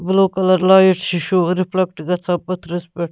blue colour لٲگِتھ چھ شُر رِفلیکٹہٕ گژھان پٔتھرِس پٮ۪ٹھ